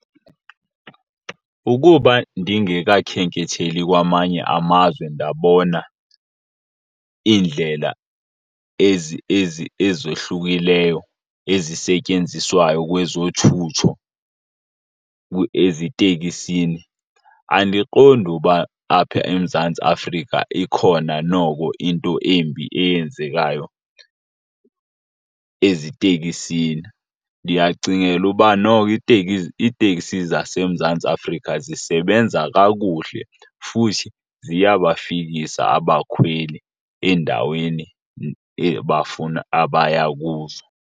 Ukuba ndingekakhenketheli kwamanye amazwe ndabona indlela ezohlukileyo ezisetyenziswayo kwezothutho eziteksini, andiqondi uba apha eMzantsi Afrika ikhona noko into embi eyenzekayo eziteksini. Ndiyacingela uba noko iiteksi zaseMzantsi Afrika zisebenza kakuhle futhi ziyabafikisa abakhweli eendaweni abafuna, abaya kuzo.